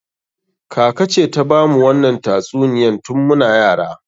Kaka ce ta bamu wannan tatsuniyan tun muna yara.